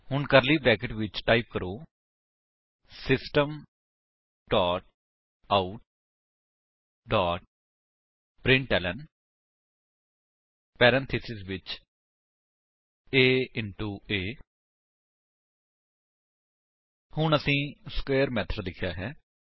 ਹੁਣ curly brackets ਵਿੱਚ type ਕਰੋ system dot out dot println parenthesis ਵਿੱਚ a ਇੰਟੋ a ਹੁਣ ਅਸੀਂ ਸਕੁਏਅਰ ਮੇਥਡ ਲਿਖਿਆ ਹੈ